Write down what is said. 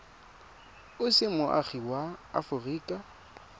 o se moagi wa aforika